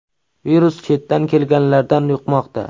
Virus chetdan kelganlardan yuqmoqda.